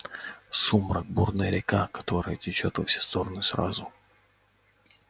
сумрак бурная река которая течёт во все стороны сразу